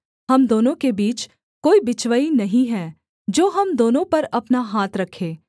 हम दोनों के बीच कोई बिचवई नहीं है जो हम दोनों पर अपना हाथ रखे